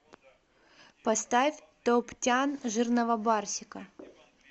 поставь топ тян жирного барсика